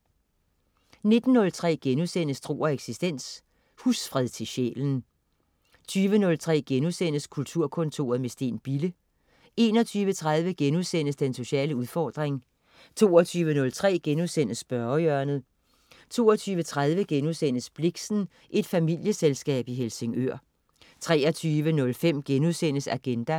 19.03 Tro og eksistens.* Husfred til sjælen 20.03 Kulturkontoret med Steen Bille* 21.30 Den sociale udfordring* 22.03 Spørgehjørnet* 22.30 Blixen: Et familieselskab i Helsingør* 23.05 Agenda*